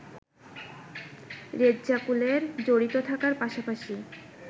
রেজ্জাকুলের জড়িত থাকার পাশাপাশি